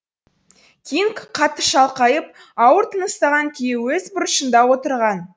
кинг қатты шалқайып ауыр тыныстаған күйі өз бұрышында отырған